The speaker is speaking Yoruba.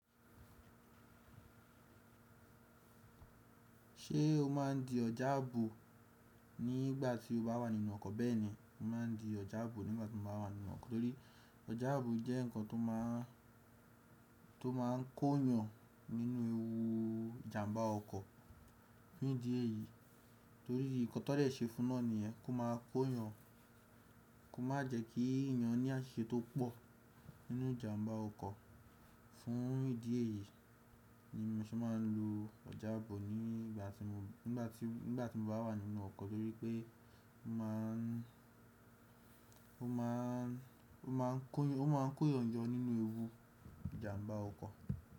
Ṣé o máa ń di ọjà ààbò nígbà tí o bá wà nínú ọkọ̀? Bẹ́ẹ̀ni, mo máa ń di ọjà ààbò nígbà tí mo bá wà nínú ọkọ̀ torí ọjà ààbò jẹ́ nǹkan tó máa ń tó máa ń kó yan nínú ewu ìjàmbá ọkọ̀ fún ìdí èyí torí nǹkan tó dẹ̀ ṣe fún náà ni yẹ́n kó máa kó yan, kó má jẹ́ kí èèyàn ní àṣẹ tó pọ̀ nínú ìjàmbá ọkọ̀. Fún ìdí èyí ni mo ṣé máa ń lo ọjà ààbò nígbà tí mo ń gbá tí n gba tí mo bá wà nínú ọkọ̀ torí pé ó máa ń ó máa ń kó yànjọ nínú ewu ìjàmbá ọkọ̀.